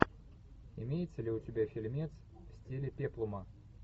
имеется ли у тебя фильмец в стиле пеплума